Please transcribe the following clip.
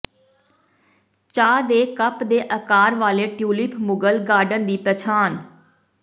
ਚਾਹ ਦੇ ਕੱਪ ਦੇ ਆਕਾਰ ਵਾਲੇ ਟਿਊਲਿਪ ਮੁਗਲ ਗਾਰਡਨ ਦੀ ਪਛਾਣ